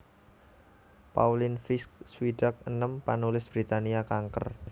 Pauline Fisk swidak enem panulis Britania kanker